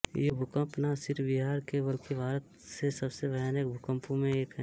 ये भूकंप ना सिर्फ बिहार के बल्कि भारत से सबसे भयानक भूकंपों मे एक है